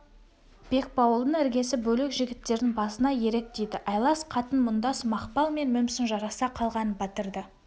бекбауылдың іргесі бөлек жігіттердің басына ерік тиді айлас қатын мұңдас мақпал мен мүмсін жараса қалған батырды